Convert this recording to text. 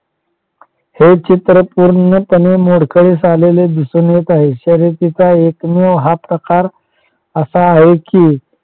हे चित्र पूर्णपणे मोडकळीस आलेले दिसून येत आहे शर्यतीचा हा एकमेव प्रकार असा आहे कि